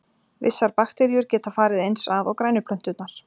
Vissar bakteríur geta farið eins að og grænu plönturnar.